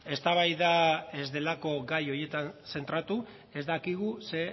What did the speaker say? eztabaida ez delako gai horietan zentratu ez dakigu zer